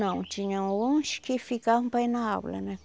Não, tinham uns que ficavam para ir na aula, né?